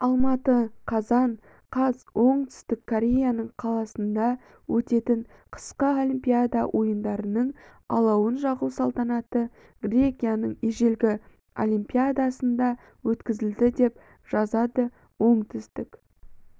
алматы қазан қаз оңтүстік кореяның қаласында өтетін қысқы олимпиада ойындарының алауын жағу салтанаты грекияның ежелгі олимпиясында өткізілді деп жазады оңтүстік